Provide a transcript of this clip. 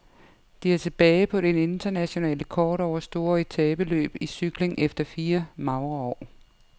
De er tilbage på det internationale kort over store etapeløb i cykling efter fire magre år.